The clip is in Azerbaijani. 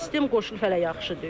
İki sistem qoşulub hələ yaxşı deyil.